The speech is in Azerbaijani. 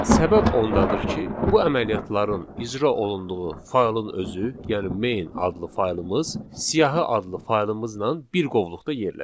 Səbəb ondadır ki, bu əməliyyatların icra olunduğu faylın özü, yəni main adlı faylımız siyahı adlı faylımızla bir qovluqda yerləşir.